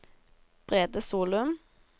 Brede Solum